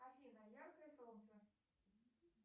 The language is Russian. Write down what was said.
афина яркое солнце